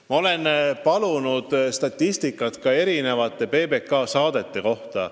Ma olen palunud statistikat ka teiste PBK saadete kohta.